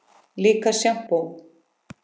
Líka sjampó.